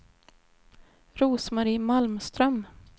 Rose-Marie Malmström